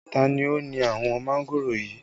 Ta ni ó ni àwọn mángòrò yìí?